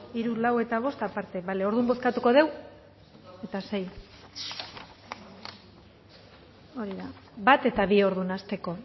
hiru lau eta bost aparte bale orduan bozkatuko dugu eta sei hori bat eta bi orduan hasteko